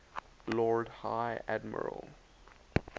lord high admiral